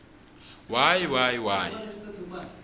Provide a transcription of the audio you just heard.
y y y